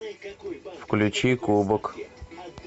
включи кубок